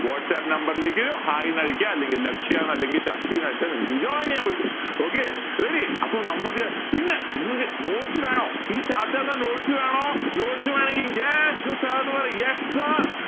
whatsapp number ലേക്ക് hi ന്ന് അടിക്ക അല്ലെങ്കി ലക്ഷ്യ അല്ലെങ്കി ശക്തിന്ന് അടിച്ച നിങ്ങൾക്ക് join ചെയ്യാൻ പറ്റും okay ready അപ്പൊ നമ്മൾക്കു പിന്നെ നിങ്ങക്ക് notes വേണോ ഈ chapter notes വേണോ notes വേണെങ്കി yes sir ന്ന് പറയ് yes sir